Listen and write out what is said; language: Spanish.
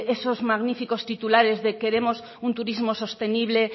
esos magníficos titulares de queremos un turismo sostenible